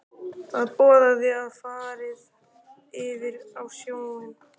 Það boðaði að farið yrði á sjóinn.